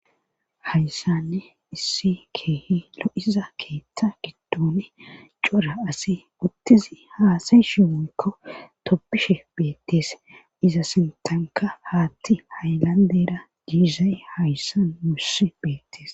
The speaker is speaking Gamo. hayssanne issi keehi lo7iza keeththa giddone cora asi uttizi haasay shiwoykko toppishe beettees iza sintanka haatti haylandera diizay hayssan mussi beettees